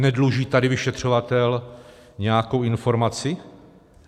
Nedluží tady vyšetřovatel nějakou informaci?